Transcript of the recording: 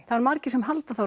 það eru margir sem halda það